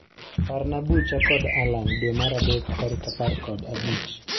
Parna bucha kod Allan dwe mar adek tarik apar kod abich